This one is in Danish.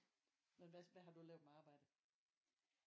Men hvad hvad har du lavet med arbejde?